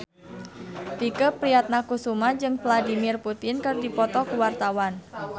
Tike Priatnakusuma jeung Vladimir Putin keur dipoto ku wartawan